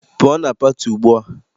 Pụọ na pati ugbua!